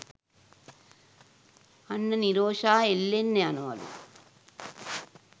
අන්න නිරෝෂා එල්ලෙන්න යනවලු.